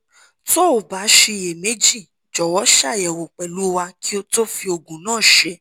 tó o bá ṣiyèméjì jọ̀wọ́ ṣàyẹ̀wò pẹ̀lú wa kí o tó fi oògùn náà ṣe